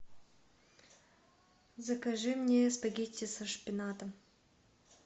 закажи мне спагетти со шпинатом